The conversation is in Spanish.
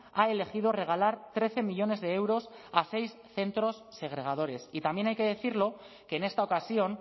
ha elegido regalar trece millónes de euros a seis centros segregadores y también hay que decirlo que en esta ocasión